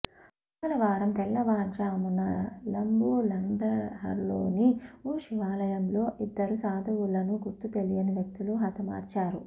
మంగళవారం తెల్లవారుజామునల బులంద్షహర్లోని ఓ శివాలయంలో ఇద్దరు సాధువులను గుర్తు తెలియని వ్యక్తులు హతమార్చారు